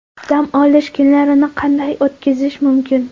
Dam olish kunlarini qanday o‘tkazish mumkin?.